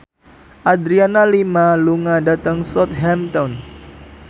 Adriana Lima lunga dhateng Southampton